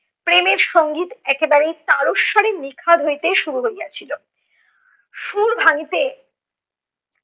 প্রেমের সঙ্গীত একেবারে তারস্বরে নিখাদ হইতে শুরু হইয়াছিল, সুর ভাঙিতে